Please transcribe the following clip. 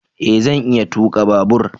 E! Zan iya tuka babur.